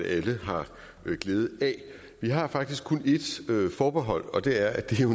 alle har glæde af vi har faktisk kun et forbehold og det er at det jo